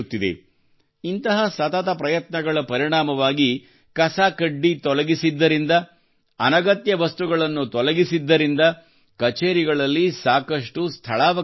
ಇಂತಹ ಸತತ ಪ್ರಯತ್ನಗಳ ಪರಿಣಾಮವಾಗಿ ಕಸ ಕಡ್ಡಿ ತೊಲಗಿಸಿದ್ದರಿಂದ ಅನಗತ್ಯ ವಸ್ತುಗಳನ್ನು ತೊಲಗಿಸಿದ್ದರಿಂದ ಕಛೇರಿಗಳಲ್ಲಿ ಸಾಕಷ್ಟು ಸ್ಥಳಾವಕಾಶ ಉಂಟಾಗಿದೆ